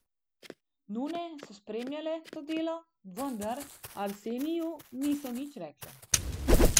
Nune so spremljale to delo, vendar Arseniju niso nič rekle.